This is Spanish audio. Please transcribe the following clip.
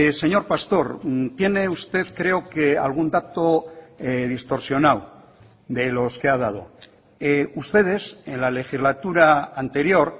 señor pastor tiene usted creo que algún dato distorsionado de los que ha dado ustedes en la legislatura anterior